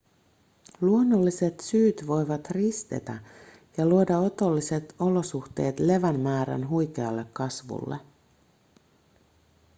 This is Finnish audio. luonnolliset syyt voivat ristetä ja luoda otolliset olosuhteet levän määrän huikealle kasvulle